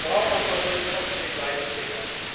Der Verbraucherschutz kommt mit dem gleichen Thema.